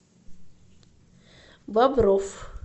бобров